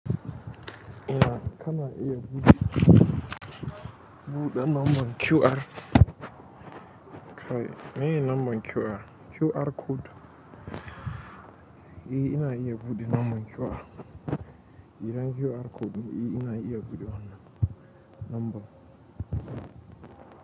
Ina ka na iya buɗe, buɗe number QR. Kayi meye number QR? QR code. E ina iya buɗe number QR. Idan QR code ina iya buɗe wannan number.